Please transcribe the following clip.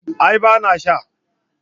A'a ba na sha